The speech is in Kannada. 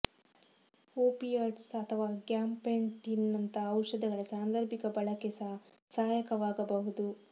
ಒಪಿಯಾಯ್ಡ್ಸ್ ಅಥವಾ ಗ್ಯಾಬಪೆಂಟಿನ್ ನಂತಹ ಔಷಧಗಳ ಸಾಂದರ್ಭಿಕ ಬಳಕೆ ಸಹ ಸಹಾಯಕವಾಗಬಹುದು